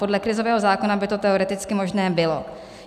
Podle krizového zákona by to teoreticky možné bylo.